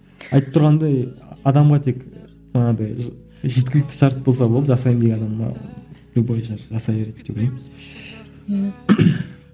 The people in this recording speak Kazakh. айтып тұрғандай адамға тек манадай жеткілікті шарт болса болды жасаймын деген адамға любой жасай береді деп ойлаймын ммм